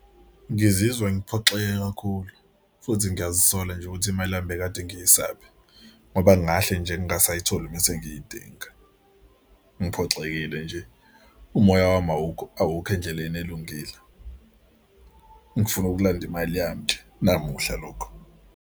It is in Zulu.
Ngizizwe ngiphoxeke kakhulu futhi ngiyazisola nje ukuthi imali yami bekade ngisaphi ngoba ngingahle nje ngingasayitholi mese ngiyidinga. Ngiphoxekile nje umoya wami awukho awukho endleleni elungile. Ngifuna ukulanda imali yami nje namuhla lokhu.